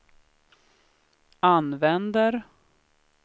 använder